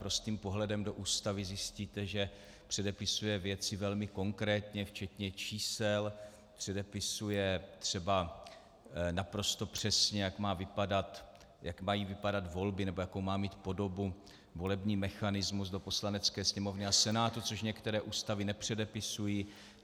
Prostým pohledem do Ústavy zjistíte, že předepisuje věci velmi konkrétně včetně čísel, předepisuje třeba naprosto přesně, jak mají vypadat volby nebo jakou má mít podobu volební mechanismus do Poslanecké sněmovny a Senátu, což některé ústavy nepředepisují.